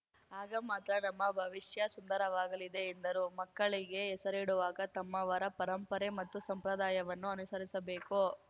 ಆಗ ಮಾತ್ರ ನಮ್ಮ ಭವಿಷ್ಯ ಸುಂದರವಾಗಲಿದೆ ಎಂದರು ಮಕ್ಕಳಿಗೆ ಹೆಸರಿಡುವಾಗ ತಮ್ಮವರ ಪರಂಪರೆ ಮತ್ತು ಸಂಪ್ರದಾಯವನ್ನು ಅನುಸರಿಸಬೇಕು